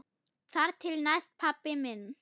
Þar til næst, pabbi minn.